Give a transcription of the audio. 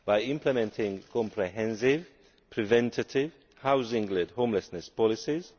implementing comprehensive, preventive, housing led homelessness policies